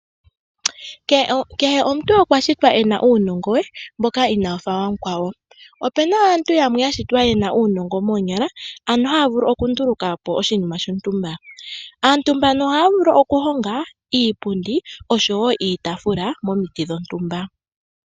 Kehe omuntu okwashitwa ena uunongo we mboka inawufa wa mukwawo. Opuna aantu yamwe ya shitwa yena uunongo moonyala, ano haya vulu oku ndulukapo oshinima shontumba. Aantu mbano ohaya vulu oku honga iipundi osho wo iitafula momiti dhontumba.